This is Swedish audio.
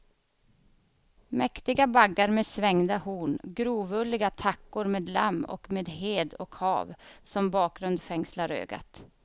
Mäktiga baggar med svängda horn, grovulliga tackor med lamm och med hed och hav som bakgrund fängslar ögat.